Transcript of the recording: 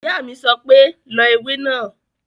Ìyá mi sọ pé "lọ ewé náà!"